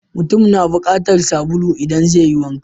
Mutum na bukatar sabulu idan zai yi wanka.